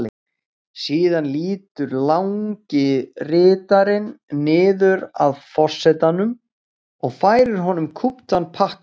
Síðan lýtur langi ritarinn niður að forsetanum og færir honum kúptan pakka.